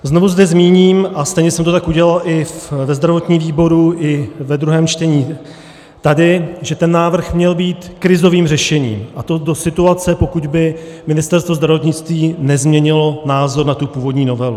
Znovu zde zmíním, a stejně jsem to tak udělal i ve zdravotním výboru i ve druhém čtení tady, že ten návrh měl být krizovým řešením, a to do situace, pokud by Ministerstvo zdravotnictví nezměnilo názor na tu původní novelu.